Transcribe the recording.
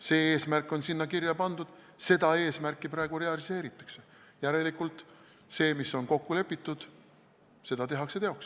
See eesmärk on sinna kirja pandud, seda eesmärki praegu realiseeritakse ja järelikult see, mis on kokku lepitud, saab teoks tehtud.